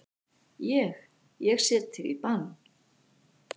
Ég. ég set þig í bann!